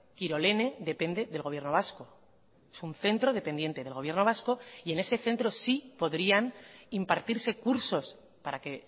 kirolene depende del gobierno vasco es un centro dependiente del gobierno vasco y en ese centro sí podrían impartirse cursos para que